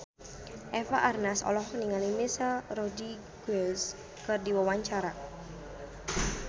Eva Arnaz olohok ningali Michelle Rodriguez keur diwawancara